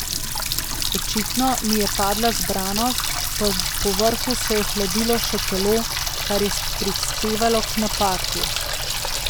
Očitno mi je padla zbranost, povrhu se je ohladilo še telo, kar je prispevalo k napaki.